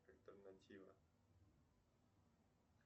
альтернатива